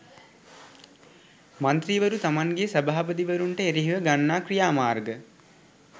මන්ත්‍රීවරු තමන්ගේ සභාපතිවරුන්ට එරෙහිව ගන්නා ක්‍රියාමාර්ග